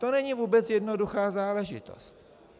To není vůbec jednoduchá záležitost.